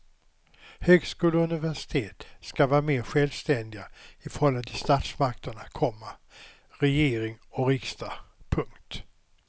Högskolor och universitet skall vara mer självständiga i förhållande till statsmakterna, komma regering och riksdag. punkt